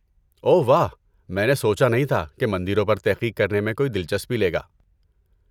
اوہ واہ، میں نے سوچا نہیں تھا کہ مندروں پر تحقیق کرنے میں کوئی دلچسپی لے گا۔